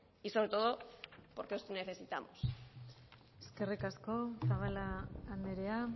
y sobre todo porque os necesitamos eskerrik asko zabala andrea